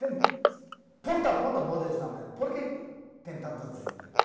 Tem ponta a ponta, pode usar, mas por que que tem tantos desemprego?